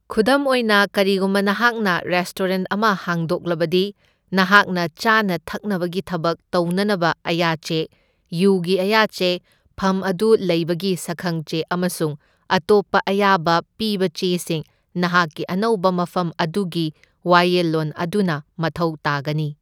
ꯈꯨꯗꯝ ꯑꯣꯏꯅ, ꯀꯔꯤꯒꯨꯝꯕ ꯅꯍꯥꯛꯅ ꯔꯦꯁꯇꯣꯔꯦꯟꯠ ꯑꯃ ꯍꯥꯡꯗꯣꯛꯂꯕꯗꯤ ꯅꯍꯥꯛꯅ ꯆꯥꯅ ꯊꯛꯅꯕꯒꯤ ꯊꯕꯛ ꯇꯧꯅꯅꯕ ꯑꯌꯥꯆꯦ, ꯌꯨꯒꯤ ꯑꯌꯥꯆꯦ, ꯐꯝ ꯑꯗꯨ ꯂꯩꯕꯒꯤ ꯁꯛꯈꯪꯆꯦ ꯑꯃꯁꯨꯡ ꯑꯇꯣꯞꯄ ꯑꯌꯥꯕ ꯄꯤꯕꯆꯦꯁꯤꯡ ꯅꯍꯥꯛꯀꯤ ꯑꯅꯧꯕ ꯃꯐꯝ ꯑꯗꯨꯒꯤ ꯋꯥꯌꯦꯜꯂꯣꯟ ꯑꯗꯨꯅ ꯃꯊꯧ ꯇꯥꯒꯅꯤ꯫